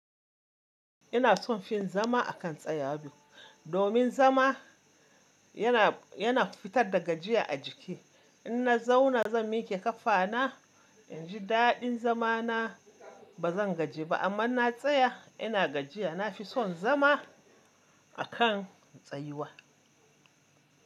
Ina son fin zama a kan tsayawa Domin zama yana fitar da gajiya a jiki. In na zauna zan miƙe kafa na, in ji daɗin zama na. Ba zan gaji ba amma na tsaya ina gajiya. Na fi son zama a kan tsayuwa.